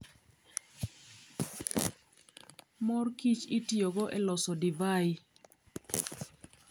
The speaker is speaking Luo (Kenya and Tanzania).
Mor kich itiyogo e loso divai.